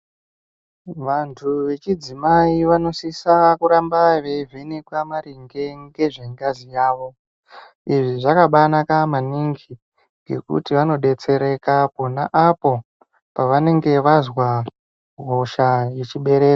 Vantu vechidzimai vanosise kuramba veivhenekwa maringe ngezve ngazi yavo. Izvi zvakabanaka maningi ngekuti vanobetsereka pona apo pavanonga vazwa hosha yechibereko.